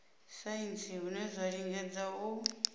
saintsi hune zwa lingedza u